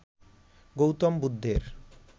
গৌতম বুদ্ধের